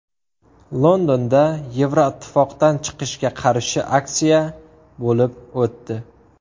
Londonda Yevroittifoqdan chiqishga qarshi aksiya bo‘lib o‘tdi.